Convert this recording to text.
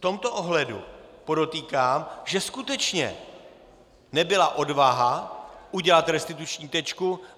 V tomto ohledu podotýkám, že skutečně nebyla odvaha udělat restituční tečku.